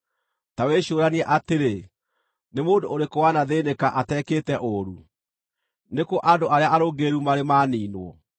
“Ta wĩcũũranie atĩrĩ: Nĩ mũndũ ũrĩkũ wanathĩĩnĩka atekĩte ũũru? Nĩ kũ andũ arĩa arũngĩrĩru marĩ maniinwo?